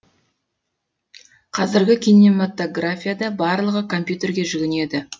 қазіргі кинематографияда барлығы компьютерге жүгінеді